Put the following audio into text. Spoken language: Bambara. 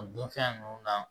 O dun fɛn ninnu na